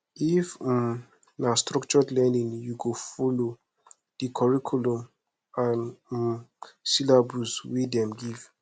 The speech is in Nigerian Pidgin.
if um na structured learning you go folo di curriculum and um syllabus wey dem give